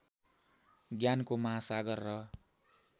ज्ञानको महासागर र